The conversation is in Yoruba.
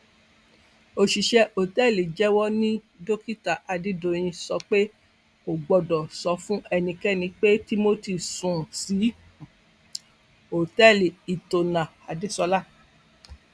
òṣìṣẹ òtẹẹlì jẹwọ ni dókítà adédọyìn sọ pé n kò gbọdọ sọ fún ẹnikẹni pé timothy sùn sí òtẹẹlì hiltonadesola